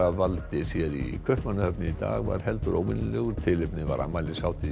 valdi sér í Kaupmannahöfn í dag var heldur óvenjulegur tilefnið var afmælishátíð